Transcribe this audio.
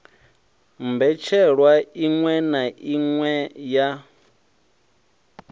mbetshelwa iṋwe na iṋwe ya